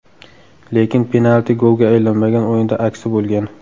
Lekin penalti golga aylanmagan o‘yinda aksi bo‘lgan.